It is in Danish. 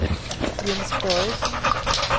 Jens Boysen